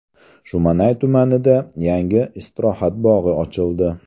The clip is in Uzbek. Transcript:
Shumanay tumanida yangi istirohat bog‘i ochildi.